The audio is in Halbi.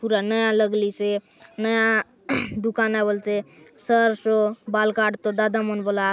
पुराना लगलीसे नया दुकान आय बलते सरसो बाल काटतो दादा मनबलात।